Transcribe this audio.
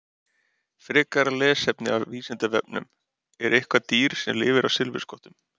Frekara lesefni af Vísindavefnum: Er eitthvert dýr sem lifir á silfurskottum?